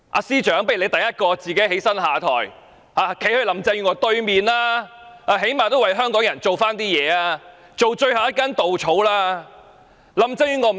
司長，不如你首先站起來下台，站在林鄭月娥對面，最低限度也為香港人做點事，當最後一根稻草。